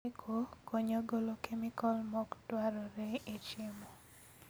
Chweko konyo golo kemikol mokdwarre e chiemo